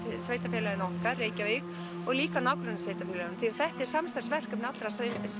sveitarfélaginu okkar Reykjavík og líka nágrannasveitarfélögunum því þetta er samstarfsverkefni allra